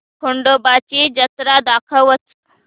खंडोबा ची जत्रा दाखवच